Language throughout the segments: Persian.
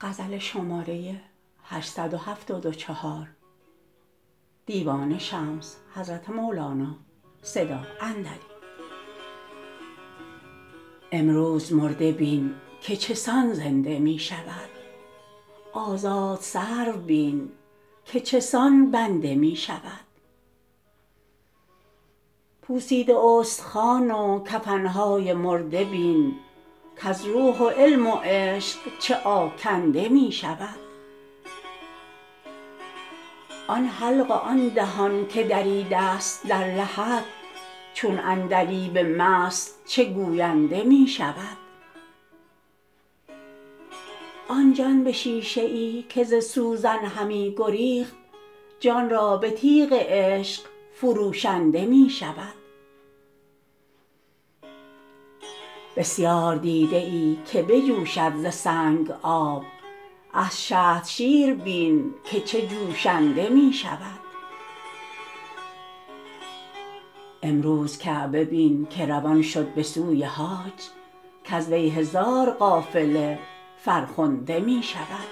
امروز مرده بین که چه سان زنده می شود آزاد سرو بین که چه سان بنده می شود پوسیده استخوان و کفن های مرده بین کز روح و علم و عشق چه آکنده می شود آن حلق و آن دهان که دریده ست در لحد چون عندلیب مست چه گوینده می شود آن جان به شیشه ای که ز سوزن همی گریخت جان را به تیغ عشق فروشنده می شود بسیار دیده ای که بجوشد ز سنگ آب از شهد شیر بین که چه جوشنده می شود امروز کعبه بین که روان شد به سوی حاج کز وی هزار قافله فرخنده می شود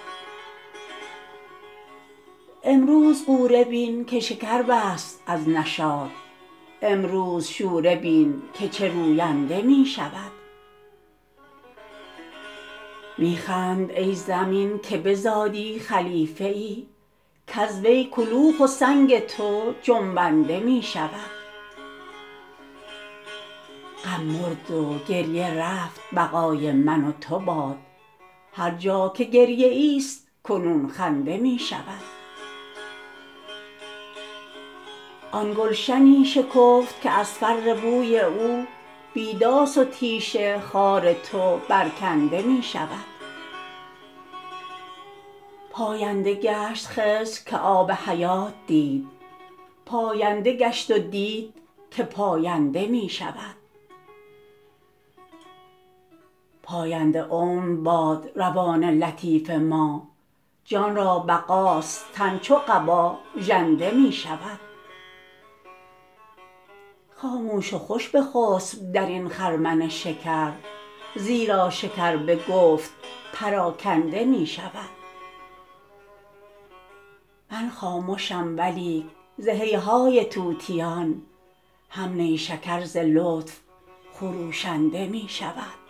امروز غوره بین که شکر بست از نشاط امروز شوره بین که چه روینده می شود می خند ای زمین که بزادی خلیفه ای کز وی کلوخ و سنگ تو جنبنده می شود غم مرد و گریه رفت بقا ی من و تو باد هر جا که گریه ای ست کنون خنده می شود آن گلشنی شکفت که از فر بوی او بی داس و تیش خار تو برکنده می شود پاینده گشت خضر که آب حیات دید پاینده گشت و دید که پاینده می شود پاینده عمر باد روان لطیف ما جان را بقاست تن چو قبا ژنده می شود خاموش و خوش بخسپ در این خرمن شکر زیرا شکر به گفت پراکنده می شود من خامشم ولیک ز هیهای طوطیان هم نیشکر ز لطف خروشنده می شود